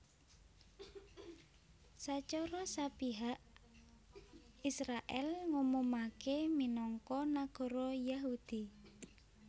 Sacara sepihak Israèl ngumumaké minangka nagara Yahudi